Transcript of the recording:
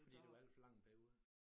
Fordi det var alt for lang en periode?